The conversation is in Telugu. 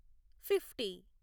ఫిఫ్టీ